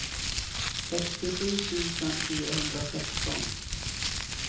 sextiosju tusen fyrahundrasexton